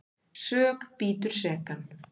Sök bítur sekan.